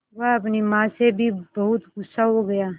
वह अपनी माँ से भी बहुत गु़स्सा हो गया